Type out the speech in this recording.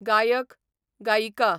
गायक, गायिका